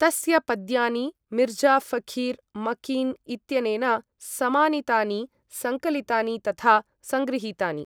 तस्य पद्यानि मिर्ज़ा ऴखीर् मकीन् इत्यनेन समानीतानि, सङ्कलितानि तथा सङ्गृहीतानि।